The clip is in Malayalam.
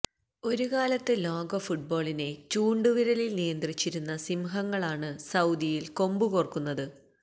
ഒരുകാലത്ത് ലോക ഫുട്ബോളിനെ ചൂണ്ടുവിരലിൽ നിയന്ത്രിച്ചിരുന്ന സിംഹങ്ങളാണ് സൌദിയിൽ കൊമ്പു കോർക്കുന്നത്